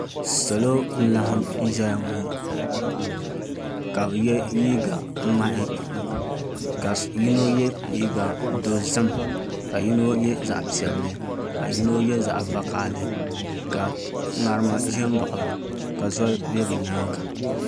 Salo n laɣam n ʒɛya ŋɔ ka bi yɛ liiga ŋmahi ka yino yɛ liiga dozim ka yino yɛ zaɣ piɛlli ka yino yɛ zaɣ vakaɣali ka ŋarim ʒɛ n baɣaba ka zoli ʒɛ bi nyaanga